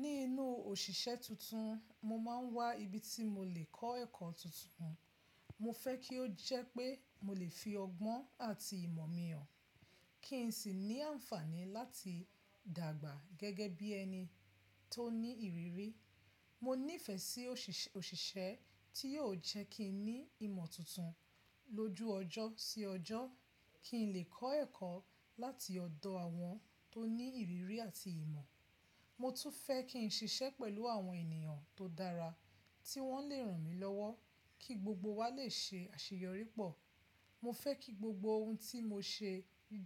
Ní inú òṣìṣẹ́ tuntun, mo máa ń wá ibi tí mo lè kọ́ ẹ̀kọ́ tuntun. Mo fẹ́ kí ó jẹ́ pé mo lè fi ọgbọ́n àti ìmọ̀ mi hàn, kí n sì ní àǹfààní láti dàgbà gẹ́gẹ́ bí ẹni tó ní ìrírí. Mo nífẹ̀ẹ́ sí òṣìṣẹ́ tí yóò jẹ́ kí n ní ìmọ̀ tuntun lójú ọjọ́ sí ọjọ́, kí n lè kọ́ ẹ̀kọ́ láti ọ̀dọ̀ àwọn tó ní ìrírí àti ìmọ̀. Mo tún fẹ́ kí n ṣiṣẹ́ pẹ̀lú àwọn ènìyàn tó dára tí wọ́n lè ràn mí lọ́wọ́ kí gbogbo wa lè ṣe àṣeyọrí pọ̀. Mo fẹ́ kí gbogbo ohun tí mo ṣe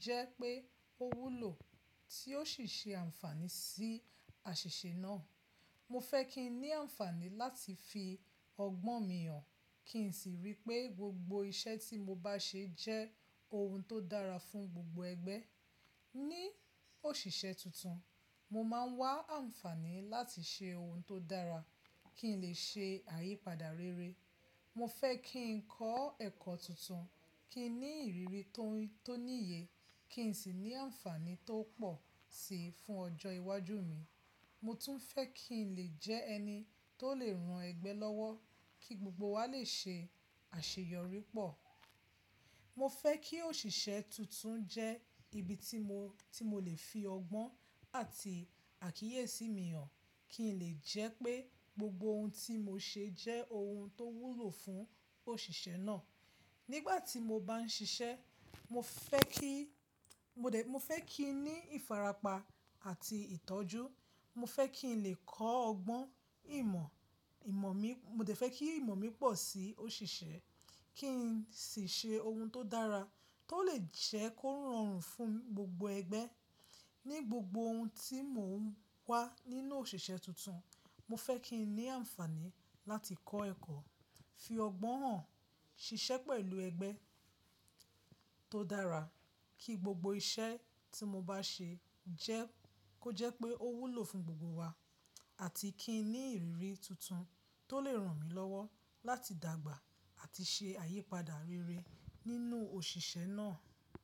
jẹ́ pé ó wúlò tí ó sì ṣe àǹfààní sí àṣìṣe náà. Mo fẹ́ kí n ní àǹfààní láti fi ọgbọ́n mi hàn, kí n sì rí pé gbogbo iṣẹ́ tí mo bá ṣe jẹ́ ohun tó dára fún gbogbo ẹgbẹ́. Ní òṣìṣẹ́ tuntun, mo máa ń wá àǹfààní láti ṣe ohun tó dára kí n lè ṣe àyípadà rere. Mo fẹ́ kí n kọ́ ẹ̀kọ́ tuntun, kí n ní ìrírí tó níye, kí n sì ní àǹfààní tó pọ̀ sí i fún ọjọ́ iwájú mi. Mo tún fẹ́ kí n lè jẹ́ ẹni tó lè ran ẹgbẹ́ lọ́wọ́ kí gbogbo wa lè ṣe àṣeyọrí pọ̀. Mo fẹ́ kí òṣìṣẹ́ tuntun jẹ́ ibi tí mo ti mo lè fi ọgbọ́n àti àkíyèsí mi hàn, kí n lè jẹ́ pé gbogbo ohun tí mo ṣe jẹ́ ohun tó wúlò fún òṣìṣẹ́ náà. Nígbà tí mo bá ń ṣiṣẹ́, mo fẹ́ kí n ní ìfarapa àti ìtọ́jú. Mo fẹ́ kí n lè kọ́ ọgbọ́n, ìmọ̀ mi, mo dè fẹ́ kí ìmọ̀ mi pọ̀ sí òṣìṣẹ́, kí n sì ṣe ohun tó dára tó lè jẹ́ kó rọrùn fún gbogbo ẹgbẹ́. Ní gbogbo ohun tí mò ń wá nínú òṣìṣẹ́ tuntun, mo fẹ́ kí n ní àǹfààní láti kọ́ ẹ̀kọ́, fi ọgbọ́n hàn, ṣiṣẹ́ pẹ̀lú ẹgbẹ́ tó dára kí gbogbo iṣẹ́ tí mo bá ṣe jẹ́ kó jẹ́ pé ó wúlò fún gbogbo wa àti kí n ní ìrírí tuntun tó lè ràn mí lọ́wọ́ láti dàgbà àti ṣe àyípadà rere nínú òṣìṣẹ́ náà.